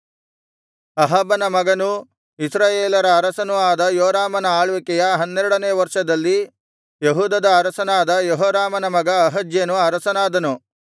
ಅಹಾಬನ ಮಗನೂ ಇಸ್ರಾಯೇಲರ ಅರಸನೂ ಆದ ಯೋರಾಮನ ಆಳ್ವಿಕೆಯ ಹನ್ನೆರಡನೆಯ ವರ್ಷದಲ್ಲಿ ಯೆಹೂದದ ಅರಸನಾದ ಯೆಹೋರಾಮನ ಮಗ ಅಹಜ್ಯನು ಅರಸನಾದನು